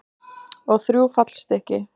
Og þrjú fallstykki.